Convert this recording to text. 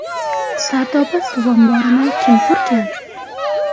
Sardoba suv omborini kim qurgan?